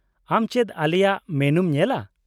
-ᱟᱢ ᱪᱮᱫ ᱟᱞᱮᱭᱟᱜ ᱢᱮᱱᱩᱢ ᱧᱮᱞᱟ ?